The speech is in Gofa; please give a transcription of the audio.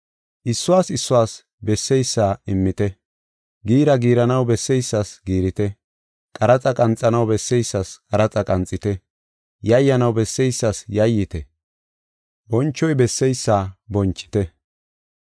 Issuwas issuwas besseysa immite. Giira giiranaw besseysas giirite; qaraxa qanxanaw besseysas qaraxa qanxite; yayyanaw besseysas yayyite; bonchoy besseysa bonchite.